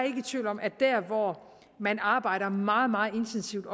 ikke i tvivl om at der hvor man arbejder meget meget intensivt